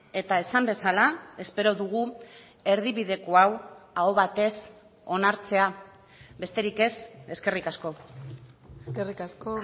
eta esan bezala espero dugu erdibideko hau aho batez onartzea besterik ez eskerrik asko eskerrik asko